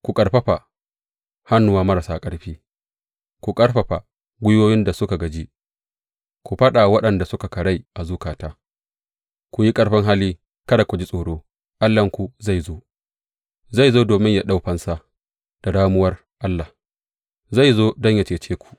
Ku ƙarfafa hannuwa marasa ƙarfi, ku ƙarfafa gwiwoyin da suka gaji; ku faɗa wa waɗanda suka karai a zukata, Ku yi ƙarfin hali, kada ku ji tsoro; Allahnku zai zo, zai zo domin ya ɗau fansa; da ramuwar Allah zai zo don yă cece ku.